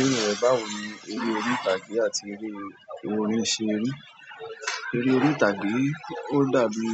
Ibẹ́ẹ̀rẹ̀ yen báwo ní, eré orí ìtàgé àti eré orin ṣe ri. Eré orí ìtàgé ò dàbí